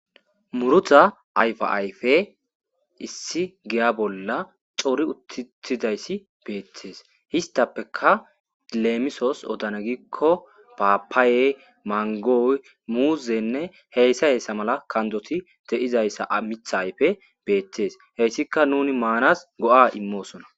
Murrutta ayiffa ayiffeyi issi giya bolla Cori uttidayisi bettesi hessatappeka lemisos oddana gikko pappaye manggoyi muzzeyinne heyisa heyssa malla kandoti dizzaysa miththa ayiffeyi bettesi heyisdika nuni mannasi go'a immossona.